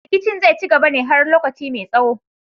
Rikicin zai ci gaba ne har lokaci mai tsaho